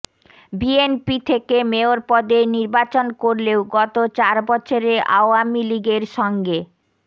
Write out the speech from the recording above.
BNP থেকে মেয়র পদে নির্বাচন করলেও গত চার বছরে আওয়ামী লীগের সঙ্গে